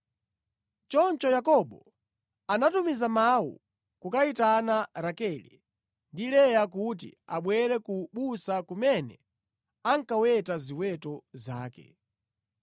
Choncho Yakobo anatumiza mawu kukayitana Rakele ndi Leya kuti abwere ku busa kumene ankaweta ziweto zake.